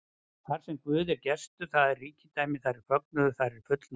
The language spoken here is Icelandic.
Þarsem Guð er gestur, þar er ríkidæmi, þar er fögnuður, þar er fullnægja.